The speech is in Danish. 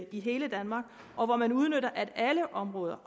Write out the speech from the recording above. i hele danmark og hvor man udnytter at alle områder